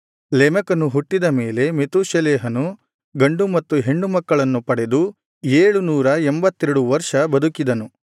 ಲೆಮೆಕನು ಹುಟ್ಟಿದ ಮೇಲೆ ಮೆತೂಷೆಲಹನು ಗಂಡು ಮತ್ತು ಹೆಣ್ಣು ಮಕ್ಕಳನ್ನು ಪಡೆದು ಏಳುನೂರ ಎಂಭತ್ತೆರಡು ವರ್ಷ ಬದುಕಿದನು